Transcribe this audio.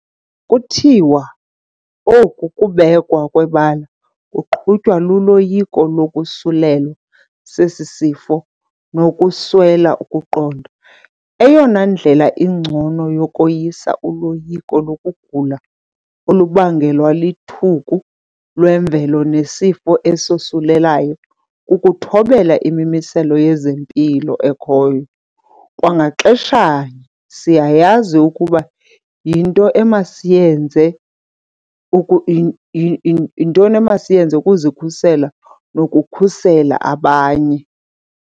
Kuthiwa oku kubekwa kwebala kuqhutywa luloyiko lokosulelwa sesi sifo nokuswela ukuqonda. Eyona ndlela ingcono yokoyisa uloyiko lokugula olubangelwa lithuku lemvelo nesifo esosulelayo kukuthobela imimiselo yezempilo ekhoyo. Kwa ngaxeshanye, siyayazi ukuba yinto emasiyenze ukuzikhusela nokukhusela abanye.